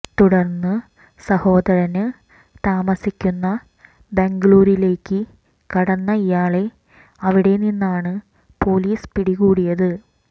തുടര്ന്ന് സഹോദരന് താമസിക്കുന്ന ബംഗലൂരിലേക്ക് കടന്ന ഇയാളെ അവിടെ നിന്നാണ് പോലീസ് പിടികൂടിയത്